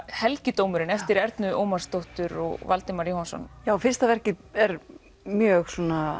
helgidómurinn eftir Ernu Ómarsdóttur og Valdimar Jóhannsson já fyrsta verkið er mjög